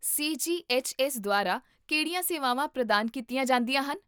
CGHS. ਦੁਆਰਾ ਕਿਹੜੀਆਂ ਸੇਵਾਵਾਂ ਪ੍ਰਦਾਨ ਕੀਤੀਆਂ ਜਾਂਦੀਆਂ ਹਨ?